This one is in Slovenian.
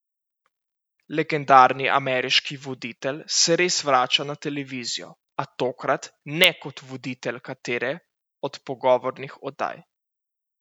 Legendarni ameriški voditelj se res vrača na televizijo, a tokrat ne kot voditelj katere od pogovornih oddaj.